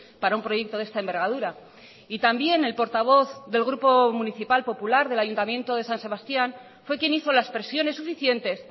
para un proyecto de esta envergadura y también el portavoz del grupo municipal popular del ayuntamiento de san sebastián fue quien hizo las presiones suficientes